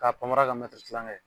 Ka panmara kɛ kilankɛ ye.